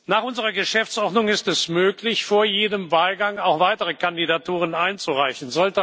Nach unserer Geschäftsordnung ist es möglich, vor jedem Wahlgang auch weitere Kandidaturen einzureichen.